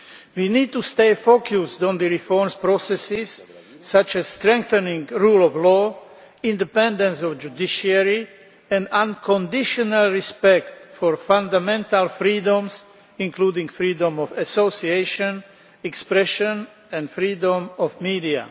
We need to stay focused on the reformsʼ processes such as strengthening the rule of law, independence of the judiciary and unconditional respect for fundamental freedoms, including freedom of association, expression and freedom of the media.